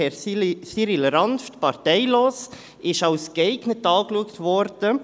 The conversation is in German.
Herr Cyrill M. Ranft, parteilos, wurde als geeignet betrachtet.